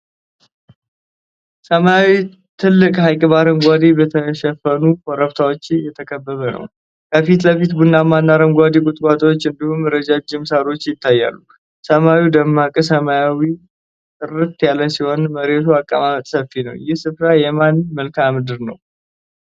ሰማያዊ ትልቅ ሐይቅ በአረንጓዴ በተሸፈኑ ኮረብቶች የተከበበ ነው። ከፊት ለፊት ቡናማና አረንጓዴ ቁጥቋጦዎች እንዲሁም ረዣዥም ሳሮች ይታያሉ። ሰማዩ ደማቅ ሰማያዊና ጥርት ያለ ሲሆን የመሬቱ አቀማመጥ ሰፊ ነው። ይህ ስፍራ የማን መልክዓ ምድር ነው?